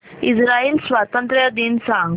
Israel स्वातंत्र्य दिन सांग